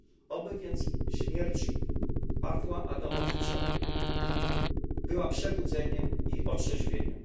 Oby więc śmierć Pawła Adamowicza była przebudzeniem i otrzeźwieniem.